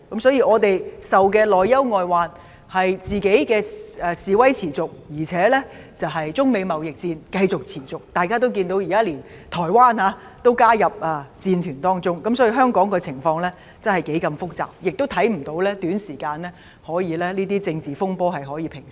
所以，我們遭受的內憂外患是本地示威持續，加上中美貿易戰持續，而大家也看到，現在連台灣也加入戰團當中，可見香港的情況是多麼複雜，我們亦看不到這些政治風波可以在短期內平息。